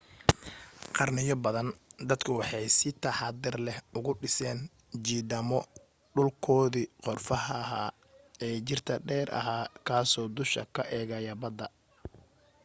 qarniyo badan dadku waxay si taxaddar lehuga dhiseen jidhaamo dhulkoodii qorfaha ahaa ee jiirta dheer ahaa kaasoo dusha ka eegaya badda